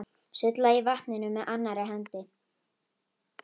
Sullaði í vatninu með annarri hendi.